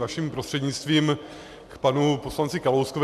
Vaším prostřednictvím k panu poslanci Kalouskovi.